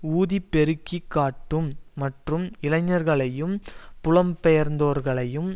ஊதிப் பெருக்கி காட்டும் மற்றும் இளைஞர்களையும் புலம் பெயந்தோர்களையும்